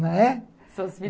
Não é?